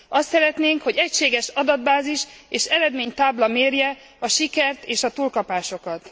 Azt szeretnénk, hogy egységes adatbázis és eredménytábla mérje a sikert és a túlkapásokat.